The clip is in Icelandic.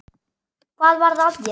Hvað var að þér?